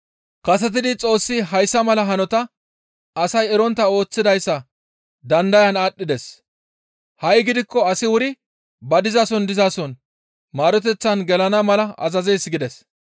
Kasetidi Xoossi hayssa mala hanota asay erontta ooththidayssa dandayan aadhdhides; ha7i gidikko asi wuri ba dizason dizason maaroteththan gelana mala azazees» gides.